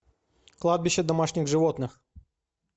кладбище домашних животных